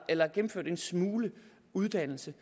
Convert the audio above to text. eller har gennemført en smule uddannelse